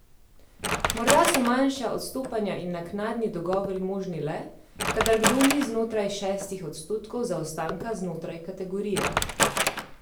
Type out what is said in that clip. Morda so manjša odstopanja in naknadni dogovori možni le, kadar kdo ni znotraj šestih odstotkov zaostanka znotraj kategorije.